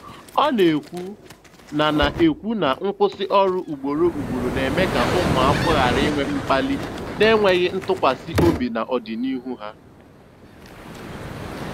Ọ na-ekwu na na-ekwu na nkwụsị ọrụ ugboro ugboro na-eme ka ụmụakwụkwọ ghara inwe mkpali na enweghị ntụkwasị obi n'ọdịnihu ha.